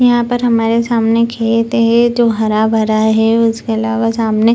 यहां पर हमारे सामने खेत हे जो हरा-भरा है उसके अलावा सामने --